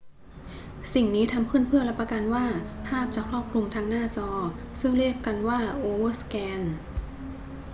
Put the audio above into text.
สิ่งนี้ทำขึ้นเพื่อรับประกันว่าภาพจะครอบคลุมทั้งหน้าจอ ซึ่งเรียกกันว่าโอเวอร์สแกน